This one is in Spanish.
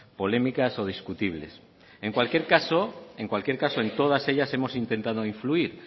polémicas o discutibles en cualquier caso en cualquier caso en todas ellas hemos intentando influir